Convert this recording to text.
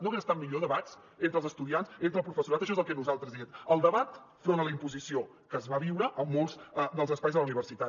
no haguessin estat millor debats entre els estudiants entre el professorat això és el que nosaltres diem el debat front a la imposició que es va viure a molts dels espais de la universitat